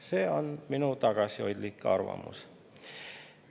See on minu tagasihoidlik arvamus.